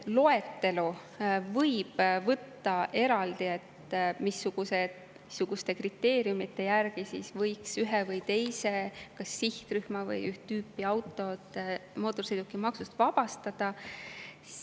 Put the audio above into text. Loetelu võib isegi võtta eraldi, et missuguste kriteeriumide järgi, kas ühe või teise sihtrühma või üht tüüpi autod võiks mootorsõidukimaksust vabastada.